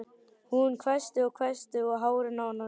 Hún hvæsti og hvæsti og hárin á henni risu.